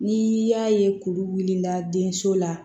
Ni y'a ye kuru wulila denso la